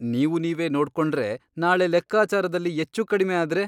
ನೀವು ನೀವೇ ನೋಡ್ಕೋಂಡ್ರೆ ನಾಳೆ ಲೆಕ್ಕಾಚಾರದಲ್ಲಿ ಎಚ್ಚು ಕಡಿಮೆ ಆದ್ರೆ ?